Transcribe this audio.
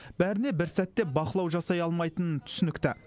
бәріне бір сәтте бақылау жасай алмайтыны түсінікті